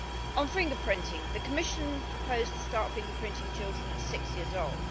On fingerprinting the Commission proposed to start fingerprinting children at six years old.